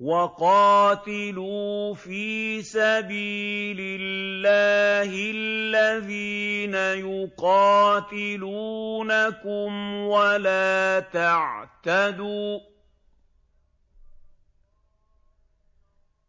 وَقَاتِلُوا فِي سَبِيلِ اللَّهِ الَّذِينَ يُقَاتِلُونَكُمْ وَلَا تَعْتَدُوا ۚ